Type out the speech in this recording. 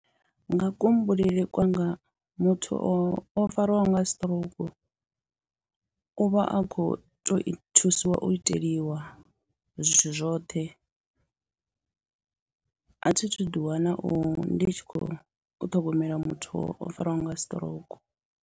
Nga kuhumbulele kwanga muthu o fariwaho nga siṱirouku u vha a khou tou thusiwa u iteliwa zwithu zwoṱhe, a thi thu ḓiwana u ndi tshi khou ṱhogomela muthu o fariwaho nga siṱirouku.